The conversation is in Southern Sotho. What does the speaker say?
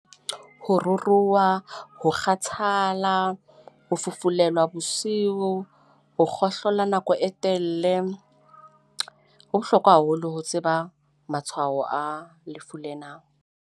Ho ruruha, ho kgathala, ho fufulelwa bosiu, ho kgohlola nako e telele . Ho bohlokwa haholo ho tseba matshwao a lefu lena.